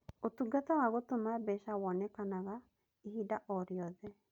Ũtungata wa gũtũma mbeca wonekaga ihinda o rĩothe.